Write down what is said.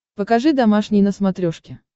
покажи домашний на смотрешке